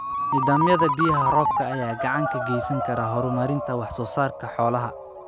Nidaamyada biyaha roobka ayaa gacan ka geysan kara horumarinta wax soo saarka xoolaha.